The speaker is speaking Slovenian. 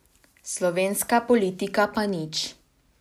Slovenska politika pa nič.